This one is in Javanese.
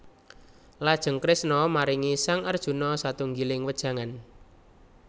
Lajeng Kresna maringi sang Arjuna satunggiling wejangan